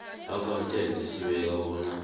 accountant esibeka bona